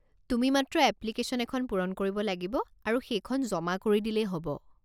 তুমি মাত্ৰ এপ্লিকেশ্যন এখন পূৰণ কৰিব লাগিব আৰু সেইখন জমা কৰি দিলেই হ'ব।